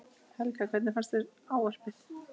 Helga: Hvernig fannst þér ávarpið?